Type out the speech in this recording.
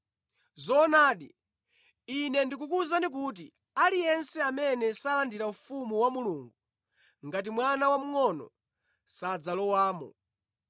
Zoonadi, Ine ndikukuwuzani kuti aliyense amene salandira ufumu wa Mulungu ngati mwana wamngʼono, sadzalowamo.”